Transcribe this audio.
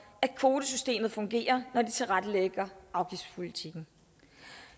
kvotesystemet fungerer når de tilrettelægger afgiftspolitikken